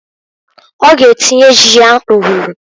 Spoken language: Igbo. Ọ g'atinye ji ya nrụrụ.